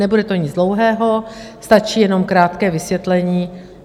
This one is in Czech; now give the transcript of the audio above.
Nebude to nic dlouhého, stačí jenom krátké vysvětlení.